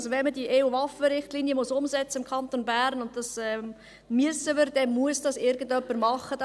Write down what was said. Wenn man die EU-Waffenrichtlinie im Kanton Bern umsetzen muss – und das müssen wir tun –, dann muss dies jemand tun.